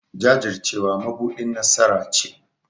Jajircewa mabuɗin nasara ce.